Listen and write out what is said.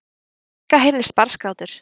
Í fjarska heyrðist barnsgrátur.